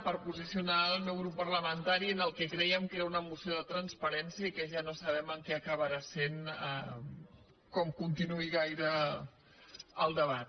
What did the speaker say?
per posicionar el meu grup parlamentari en el que creiem que era una moció de transparència i que ja no sabem què acabarà sent si continua gaire el debat